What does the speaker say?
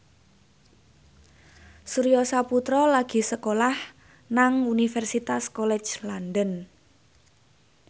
Surya Saputra lagi sekolah nang Universitas College London